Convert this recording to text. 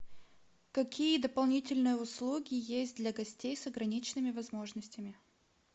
какие дополнительные услуги есть для гостей с ограниченными возможностями